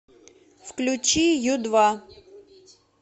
включи ю два